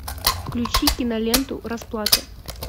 включи киноленту расплата